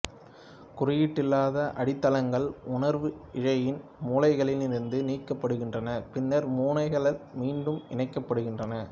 குறியீடல்லாத அடித்தளங்கள் உணர்வு இழையின் முனைகளில் இருந்து நீக்கப்படுகின்றன பின்னர் முனைகள் மீண்டும் இணைக்கப்படுகின்றன